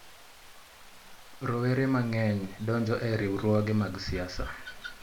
Rowere mang'eny donjo e riwruoge mag siasa.